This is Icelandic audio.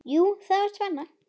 Jú, það var spenna.